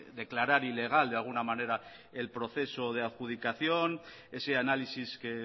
declarar ilegal de alguna manera el proceso de adjudicación ese análisis que